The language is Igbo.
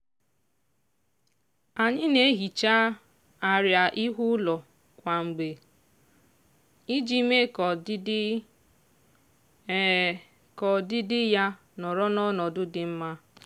anyị na-ehicha arịa ihu ụlọ kwa mgbe iji mee ka ọdịdị ka ọdịdị ya nọrọ n'ọnọdụ dị mma.